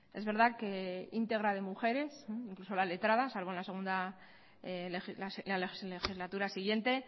es verdad que íntegra de mujeres incluso la letrada salvo en la segunda legislatura siguiente